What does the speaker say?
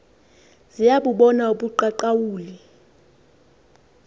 ziya bubona ubuqaqawuli